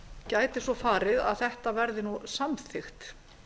gæti svo farið að þetta verði samþykkt